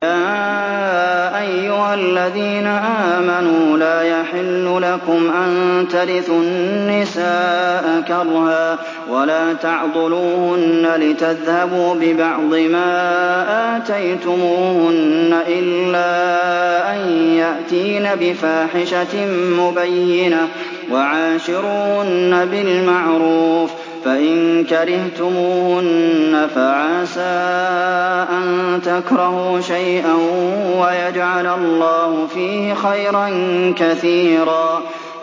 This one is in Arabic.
يَا أَيُّهَا الَّذِينَ آمَنُوا لَا يَحِلُّ لَكُمْ أَن تَرِثُوا النِّسَاءَ كَرْهًا ۖ وَلَا تَعْضُلُوهُنَّ لِتَذْهَبُوا بِبَعْضِ مَا آتَيْتُمُوهُنَّ إِلَّا أَن يَأْتِينَ بِفَاحِشَةٍ مُّبَيِّنَةٍ ۚ وَعَاشِرُوهُنَّ بِالْمَعْرُوفِ ۚ فَإِن كَرِهْتُمُوهُنَّ فَعَسَىٰ أَن تَكْرَهُوا شَيْئًا وَيَجْعَلَ اللَّهُ فِيهِ خَيْرًا كَثِيرًا